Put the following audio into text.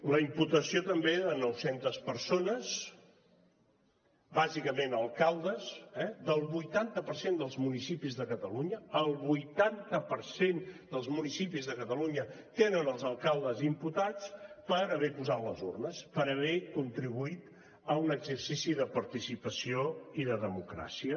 la imputació també de nou centes persones bàsicament alcaldes eh del vuitanta per cent dels municipis de catalunya el vuitanta per cent dels municipis de catalunya tenen els alcaldes imputats per haver posat les urnes per haver contribuït a un exercici de participació i de democràcia